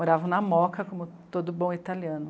Moravam na Moca, como todo bom italiano.